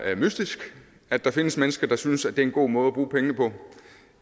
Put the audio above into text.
er mystisk at der findes mennesker der synes at det er en god måde